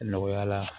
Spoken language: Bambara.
Nɔgɔya la